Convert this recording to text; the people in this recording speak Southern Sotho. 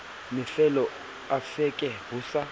mafelo a veke ho sa